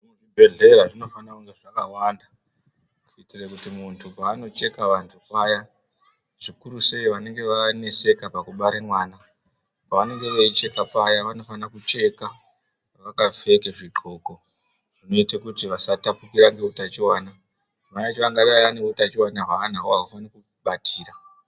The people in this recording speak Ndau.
Muzvibhedhleya zvinofanire kunge zvakawanda kuitire kuti muntu paanocheke vantu paya zvikuru sei vanenge vaneseka pakubare mwana pavanenge veucheka paya vanosise kunge vakapfeke zvidxoko zvinoite kuti vasatapukira ngeutachiwana mayacho angadai ane utachiwana hwaanahWo ahufani kubatira.